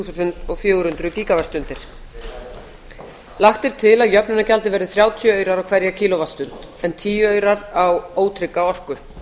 þúsund og fjögur hundruð gíga vattstundir lagt er til að jöfnunargjaldið verði þrjátíu aurar á hverja kíló vattstund en tíu aurar á ótrygga orku